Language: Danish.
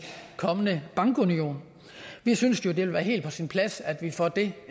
kommende bankunion vi synes at det vil være helt på sin plads at vi får det